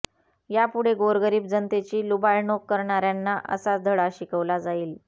यापुढे गोरगरीब जनतेची लुबाडणूक करणार्यांना असाच धडा शिकवला जाईल